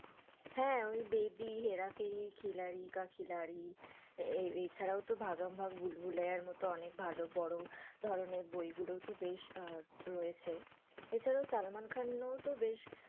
হ্যাঁ, ওই বেবি, হেরা ফেরি, খিলাড়ি কা খিলাড়ি এছাড়াও তো ভাগাম ভাগ, ভুল-ভুলাইয়ার মতো অনেক ভালো বড়ো ধরণের বই গুলোতো বেশ রয়েছে, এছাড়া সলমান খান ও তো বেশ,